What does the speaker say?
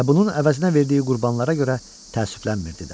Və bunun əvəzinə verdiyi qurbanlara görə təəssüflənmirdi də.